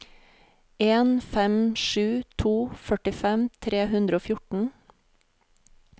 en fem sju to førtifem tre hundre og fjorten